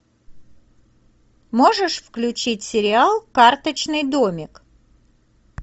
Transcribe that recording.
можешь включить сериал карточный домик